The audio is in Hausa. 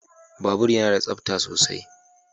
Babur yana da tsabta sosai.